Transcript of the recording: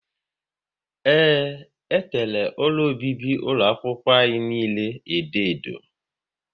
Ee, e tere ụlọ obibi ụlọ akwụkwọ niile edo edo